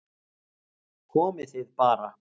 Komið þið bara